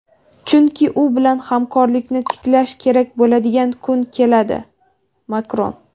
chunki u bilan hamkorlikni tiklash kerak bo‘ladigan kun keladi – Makron.